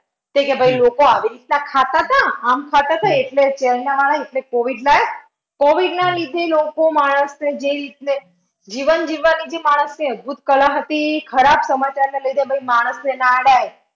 ભાઈ લોકો આવી રીત ના ખતા તા આમ થતા હતા એટલે ત્યારના માણસ એટલે covid covid ના લીધે લોકો માણસને જે રીતે જીવન જીવવાની જે માણસની અદ્ભૂત કલા હતી ખરાબ સમાચારના લીધે ભાઈ માણસ ને ના